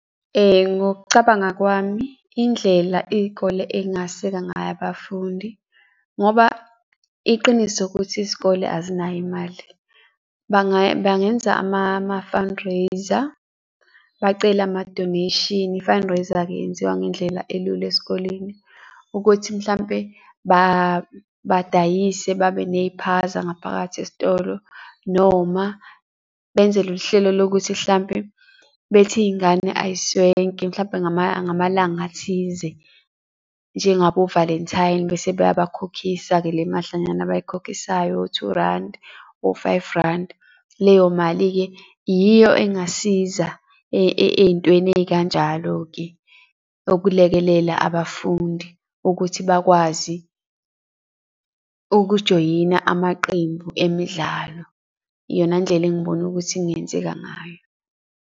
Ngokucabanga kwami, indlela iy'kole ey'ngaseka ngayo abafundi, ngoba iqiniso ukuthi isikole azinayo imali bangenza ama-fundraiser bacele ama-donation. I-fundraiser-ke yenziwa ngendlela elula esikoleni, ukuthi mhlampe badayise babe ney'phaza ngaphakathi esitolo, noma benze loluhlelo lokuthi hlampe bethi iy'ngane ay'swenke mhlampe ngamalanga athize, njengabo Valentine bese bayakhokhisa-ke le madlanyana abayikhokhisayo, o-two randi, o-five randi. Leyo mali-ke yiyo engasiza ey'ntweni ey'kanjalo-ke okulekelela abafundi ukuthi bakwazi ukujoyina amaqembu emidlalo, iyona ndlela engibona ukuthi kungenzeka ngayo.